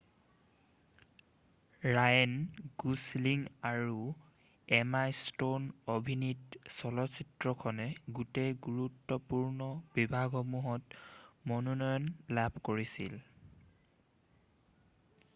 Ryan Gosling আৰু Emma Stone অভিনীত চলচিত্ৰখনে গোটেই গুৰুত্বপূৰ্ণ বিভাগসমূহত মনোনয়ন লাভ কৰিছিল